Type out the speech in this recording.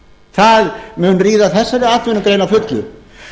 það mun ríða þessari atvinnugrein að fullu